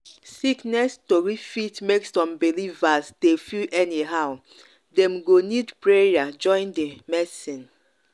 sickness tori fit make some believers dey feel anyhow. dem go need prayer join di medicine.